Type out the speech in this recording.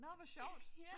Nåh hvor sjovt